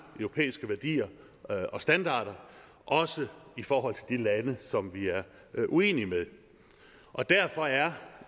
europæiske værdier og standarder også i forhold til de lande som vi er uenige med og derfor er